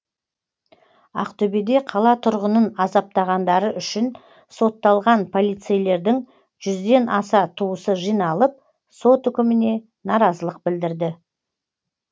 ақтөбеде қала тұрғынын азаптағандары үшін сотталған полицейлердің жүзден аса туысы жиналып сот үкіміне наразылық білдірді